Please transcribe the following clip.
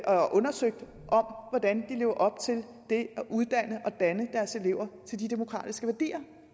og undersøgt hvordan lever op til det at uddanne og danne deres elever til de demokratiske værdier